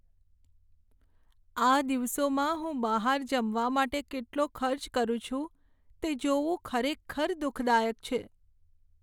આ દિવસોમાં હું બહાર જમવા માટે કેટલો ખર્ચ કરું છું તે જોવું ખરેખર દુઃખદાયક છે.